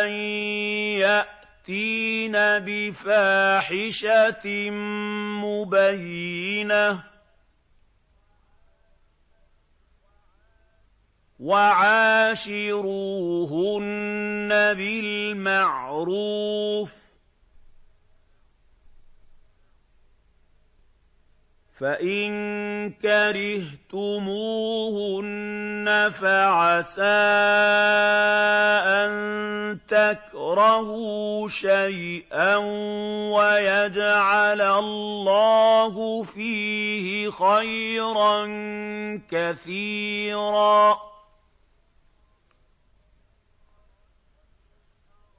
أَن يَأْتِينَ بِفَاحِشَةٍ مُّبَيِّنَةٍ ۚ وَعَاشِرُوهُنَّ بِالْمَعْرُوفِ ۚ فَإِن كَرِهْتُمُوهُنَّ فَعَسَىٰ أَن تَكْرَهُوا شَيْئًا وَيَجْعَلَ اللَّهُ فِيهِ خَيْرًا كَثِيرًا